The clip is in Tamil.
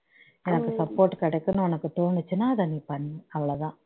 support கிடைக்கனும்னு தோணுச்சுனா அதை நீ பண்ணு அவ்வளவுதான்